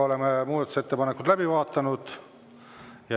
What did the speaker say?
Oleme muudatusettepanekud läbi vaadanud.